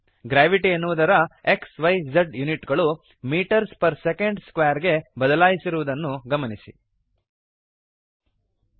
gravity ಎನ್ನುವುದರ xyಜ್ unit ಗಳು ಮೀಟರ್ಸ್ ಪರ್ ಸೆಕೆಂಡ್ ಸ್ಕ್ವೇರ್ ಗೆ ಬದಲಾಯಿಸಿರುವದನ್ನು ಗಮನಿಸಿರಿ